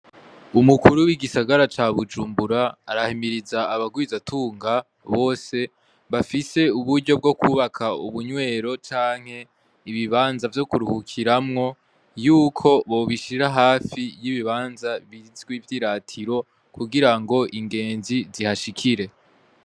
Umukuru w'igisagara ca BUJUMBURA arahimiriza abagwizatunga bose bafise uburyo bwo kubaka ubunywero canke ibibanza vyo kuruhukiramwo, yuko bobishira hafi y'ibibanza bizwi vy'iratiro kugira ngo ingenzi zihashikire.